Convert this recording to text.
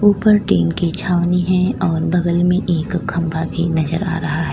ऊपर टीन की छावनी है और बगल में एक खंभा भी नजर आ रहा है।